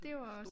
Det var også